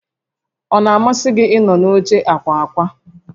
Ọ na-amasị gị ịnọdụ n'oche ákwà ákwà?